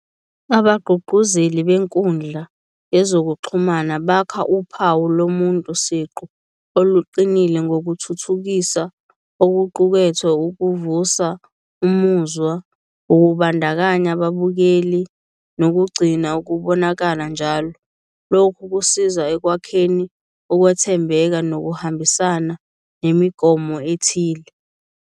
Abagqugquzeli benkundla yezokuxhumana bakha uphawu lomuntu siqu oluqinile ngokuthuthukisa okuqukethwe, ukuvusa umuzwa wokubandakanya ababukeli nokugcina ukubonakala njalo. Lokhu kusiza ekwakheni ukwethembeka nokuhambisana nemigomo ethile.